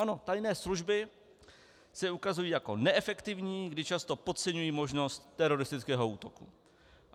Ano, tajné služby se ukazují jako neefektivní, kdy často podceňují možnost teroristického útoku.